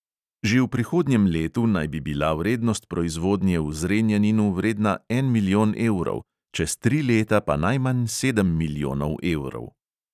Že v prihodnjem letu naj bi bila vrednost proizvodnje v zrenjaninu vredna en milijon evrov, čez tri leta pa najmanj sedem milijonov evrov.